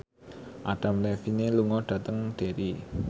Adam Levine lunga dhateng Derry